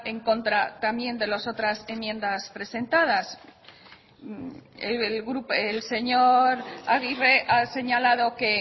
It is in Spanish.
en contra también de las otras enmiendas presentadas el señor aguirre ha señalado que